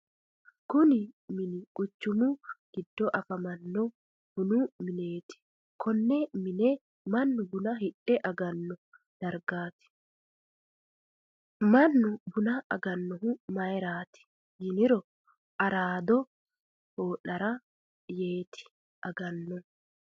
Kunni minni quchumu gido afamanno bunnu mineeti. Konne mine Manu bunna hidhe agano dargaati. Mannu bunna aganohu mayiraati yinniro araado hoo'late yee agano.